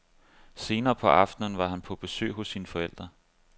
Senere på aftenen var han på besøg hos sine forældre.